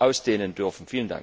ausweiten dürfen.